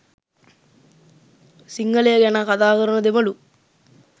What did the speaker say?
සිංහලය ගැන කතා කරන දෙමලු